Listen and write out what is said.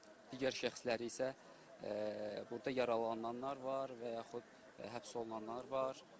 Digər şəxsləri isə burda yaralananlar var və yaxud həbs olunanlar var.